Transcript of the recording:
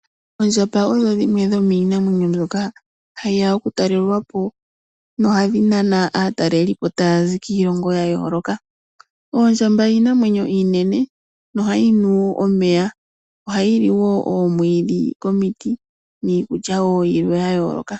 Ondjamba odhi dhimwe dhomiinamwenyo mbyoka hayi ya oku talelwapo, nohadhi nana aatalelipo taya zi killongo ya yooloka. Oondjamba iinamwenyo iinene nohayi nu omeya, oha yili wo oomwiidhi komiti, niikulya wo yimwe ya yooloka.